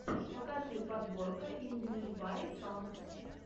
покажи подборка инглиш бай сонгс